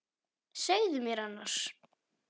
Segðu mér annars.